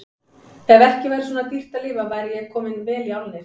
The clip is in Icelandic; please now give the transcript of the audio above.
Ef ekki væri svona dýrt að lifa væri ég kominn vel í álnir.